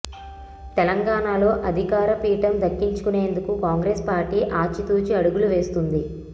తెలంగాణలో అధికార పీఠం దక్కించుకునేందుకు కాంగ్రెస్ పార్టీ ఆచితూచి అడుగులు వేస్తోంది